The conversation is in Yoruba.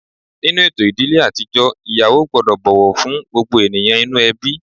Nínú ètò ìdílé àtijọ́, ìyàwó gbọ́dọ̀ bọ̀wọ̀ fún gbogbo ènìyàn inú ẹbí